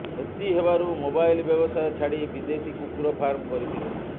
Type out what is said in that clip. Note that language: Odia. କ୍ଷତି ହେବାରୁ ମୋବାଇଲ ବ୍ୟବସାୟ ଛାଡ଼ି ବିଦେଶୀ କୁକୁର ଫାର୍ମ କରିଥିଲେ